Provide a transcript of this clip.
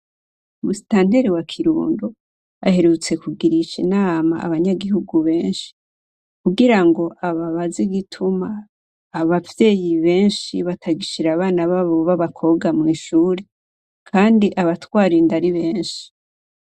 Musitanteri wa kirundo aherutse kugirisha inama abanyagihugu benshi kugira ngo ababazi igituma abavyeyi benshi batagishira abana babo b'abakobwa mw'ishuri, kandi abatwarinda ari benshi.